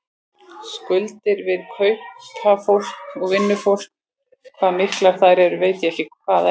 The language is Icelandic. Skuldir við kaupafólk og vinnufólk, hvað miklar þær eru veit ég ekki enn.